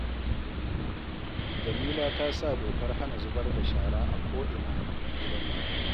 Jamila ta sa dokar hana zubar da shara a ko’ina a gidanta